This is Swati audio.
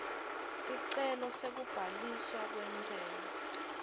sicelo sekubhaliswa kwentsela